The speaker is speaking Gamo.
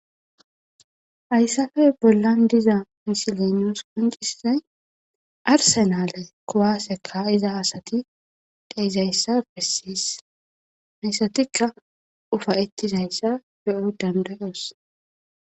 Hayssafe bollan diza misilenios qoncissay arsenale kowaaseka iza asati dheizayssa bessis heyssatikka ufa ettizayssa be7o dandayos.